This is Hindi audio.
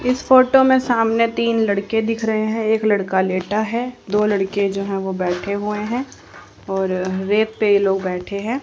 इस फोटो में सामने तीन लड़के दिख रहे हैं एक लड़का लेटा है दो लड़के जो हैं वो बैठे हुए है और रेत पे ये लोग बैठे है।